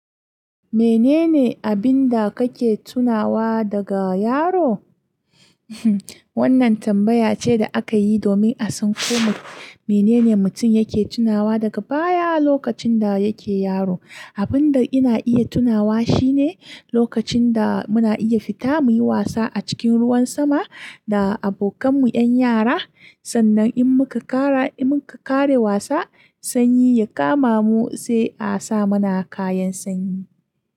Menene abin da kake tunawa daga yaro? Hmm Wannan tambaya ce da aka yi domin a san kome. Menene mutum yake tunawa daga baya lokacin da yake yaro. Abin da ina iya tunawa shi ne lokacin da muna iya fita muyi wasa a cikin ruwan sama da abokanmu 'yan yara. Sannan in muka kara- in muka kare wasa, sanyi ya kama mu sai a sa mana kayan sanyi.